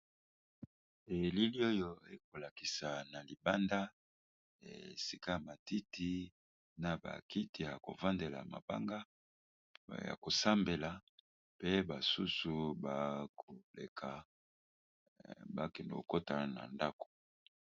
Elili oyo ekolakisa na libanda esika matiti na bakiti ya kovandela, mabanga ya kosambela mpe basusu bakoleka bakendo kokotana na ndako.